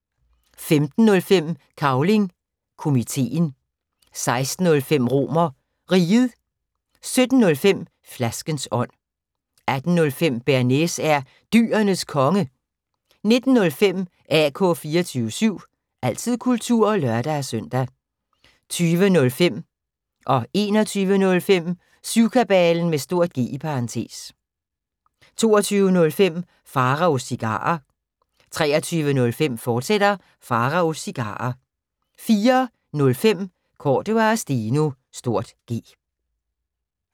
15:05: Cavling Komiteen 16:05: RomerRiget 17:05: Flaskens ånd 18:05: Bearnaise er Dyrenes Konge 19:05: AK 24syv – altid kultur (lør-søn) 20:05: Syvkabalen (G) 21:05: Syvkabalen (G) 22:05: Pharaos Cigarer 23:05: Pharaos Cigarer, fortsat 04:05: Cordua & Steno (G)